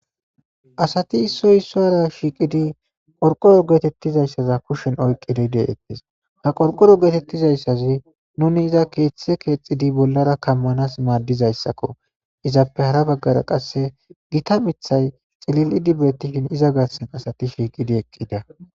Asathi issoy issuwaara shiiqidi qorqqoro geetheththizayssa kushen oykkidi de7eeththes; ha qorqqoro geetheththizayssazi nuuni keeththee keexxidi bollaara kammanaas maaddizayssakkoo; izappe hara baggara qassi githa miththay cilil7idi beeththishe iza garssan qassi sheeqi eqqida.